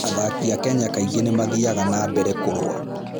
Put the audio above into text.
Athaki a Kenya kaingĩ nĩ mathiaga na mbere kũrũa.